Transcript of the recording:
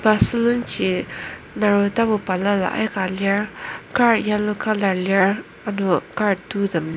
pa sulenji naro tapu balala aika lir kar yallow colour ano kar tou tem.